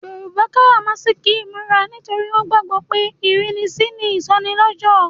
Yoruba karamasiki imura torí wọn gbàgbó pé ìrínisí ni ìsọnilọ́jọ̀.